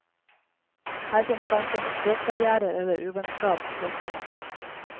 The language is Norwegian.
Her fins hverken språkbarrièrer eller uvennskap, påstår han.